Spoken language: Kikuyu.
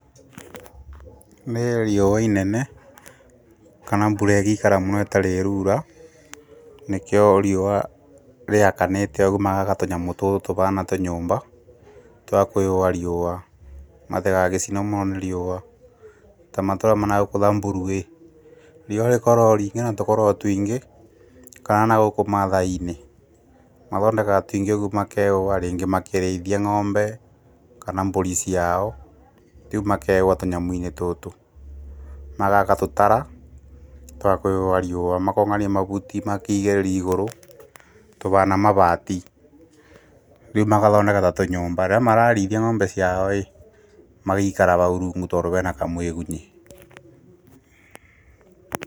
Nĩ riũa inene, kana mbura igĩikara mũno ĩtarĩ ĩraura, nĩkĩo riũa rĩakanĩte ũgu magaka tũnyamũ tũtũ tũbaana tũnyũmba, twakũĩyũa riũa, matĩgagĩcino mũno nĩ riũa, ta na gũkũ thamburu-ĩ riũa rĩkoragwo rĩingi na tũkoragwo tũingĩ, kana na gũkũ mathaai-inĩ mathondekaga tũingĩ ũmakeyũa rĩngĩ makĩrĩithia ng’ombe, kana mbũri ciao, rĩu makeyũa tũnyamũ-inĩ tũtũ, magaka tũtara twakwiyũa riũa, makongania mavuti makĩgirĩri igũrũ tũbaana mavati rĩu magathondeka ta tũnyũmba na no mararĩthia ngombe ciao-ĩ magaikara bau rungu, tondũ hena mũĩgunyi.